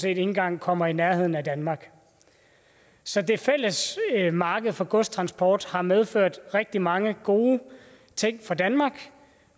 ikke engang kommer i nærheden af danmark så det fælles marked for godstransport har medført rigtig mange gode ting for danmark